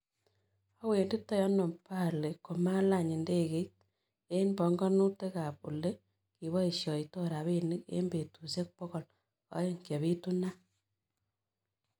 Awenditoi anoo balii komalany' indegeiit eng' pong'onutikap ole gipoisioto rabinik eng' betusiek pogol aeng' chepiitunaat